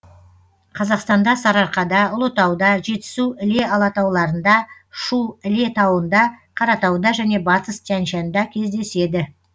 қазақстанда сарыарқада ұлытауда жетісу іле алатауларында шу іле тауында қаратауда және батыс тянь шаньда кездеседі